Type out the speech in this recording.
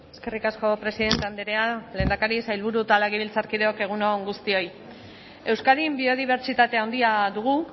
eskerrik asko presidente andrea lehendakari sailburu eta legebiltzarkideok egun on guztioi euskadin biodibertsitate handia dugu